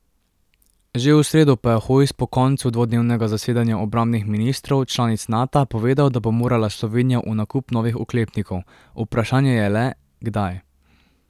Že v sredo pa je Hojs po koncu dvodnevnega zasedanja obrambnih ministrov članic Nata povedal, da bo morala Slovenija v nakup novih oklepnikov, vprašanje je le, kdaj.